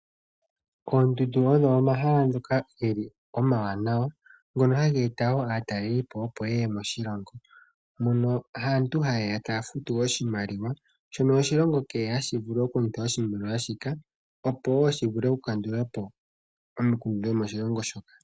Oondundo ogonomahala ngoka omawanawa, ngono haga eta woo aataleli moshilongo. Aantu ohaye ya taya futu oshimaliwa shono iilongo hayi longitha okukandula po omikundu dhawo.